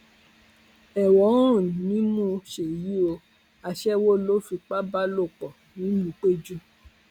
ẹwọn ń rùn nímú ṣéyí o aṣẹwó ló fipá bá lò pọ ńìlúpẹjù